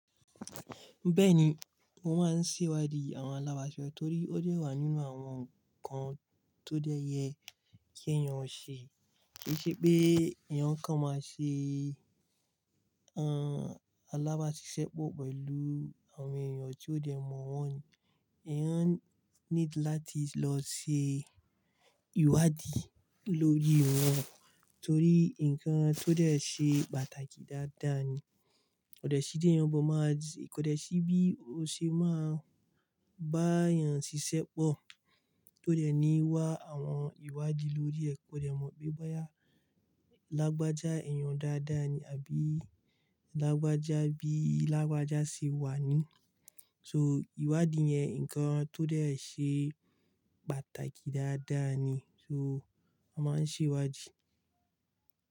Bẹ́ẹ̀ni, mo máa ń ṣèwádìí àwọn alábàáṣiṣẹ́ torí ó dẹ́ wá nínú àwọn ǹkan tó dẹyẹ kí èèyàn ò ṣe. Kì i ṣe pé èèyàn kan máa ṣe, ẹn, alábáṣiṣẹ́pọ̀ pẹ̀lú àwọn èèyàn tó dẹ̀ mọ̀ wọ́n ni èèyàn need láti lọ ṣe ìwádìí lórí wọn torí ǹkan tó dẹ̀ ṣe pàtàkì dáadáa ni. Kò dẹ̀ sí dí èèyàn bọ̀ máa, kò dẹ̀ sí bí o ṣe máa bá èèyàn ṣiṣẹ́pọ̀ tó dẹ̀ ní wá àwọn ìwádìí lórí ẹ. Kò dẹ̀ mọ̀ pé báyìí lágbájá èèyàn dáadáa ni àbí lágbájá bí lágbájá ṣe wà ní. So ìwádìí yẹn ǹkan tó dẹ̀ ṣe pàtàkì dáadáa ni, so a máa ń ṣèwádìí.